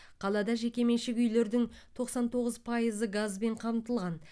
қалада жекеменшік үйлердің тоқсан тоғыз пайызы газбен қамтылған